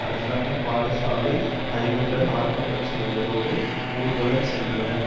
அரசாங்க பாடசாலை அதிபர்கள் ஆர்ப்பாட்டம் செய்ததோடு ஊர்வலமும் சென்றனர்